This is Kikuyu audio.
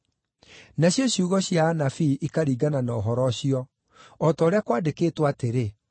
Nacio ciugo cia anabii ikaringana na ũhoro ũcio, o ta ũrĩa kwandĩkĩtwo atĩrĩ: